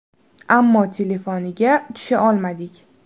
Ammo telefoniga tusha olmadik.